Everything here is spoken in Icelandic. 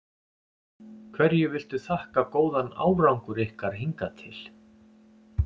Hverju viltu þakka góðan árangur ykkar hingað til?